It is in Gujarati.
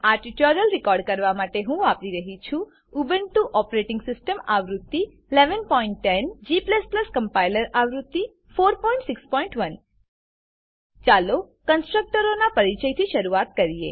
આ ટ્યુટોરીયલ રેકોર્ડ કરવા માટે હું વાપરી રહ્યો છું ઉબુન્ટુ ઓપરેટીંગ સીસ્ટમ આવૃત્તિ 1110 g કમ્પાઈલર આવૃત્તિ 461 ચાલો કન્સ્ટ્રકટરોનાં પરીચયથી શરૂઆત કરીએ